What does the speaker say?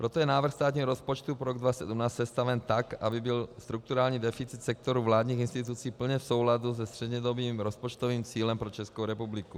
Proto je návrh státního rozpočtu pro rok 2017 sestaven tak, aby byl strukturální deficit sektoru vládních institucí plně v souladu se střednědobým rozpočtovým cílem pro Českou republiku.